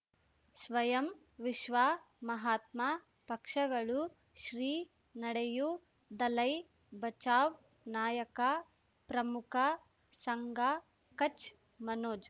ಸ್ವಯಂ ವಿಶ್ವ ಮಹಾತ್ಮ ಪಕ್ಷಗಳು ಶ್ರೀ ನಡೆಯೂ ದಲೈ ಬಚೌ ನಾಯಕ ಪ್ರಮುಖ ಸಂಘ ಕಚ್ ಮನೋಜ್